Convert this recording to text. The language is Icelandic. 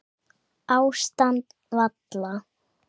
Ástand valla